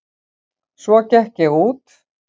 Svo gekk ég út.